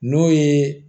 N'o ye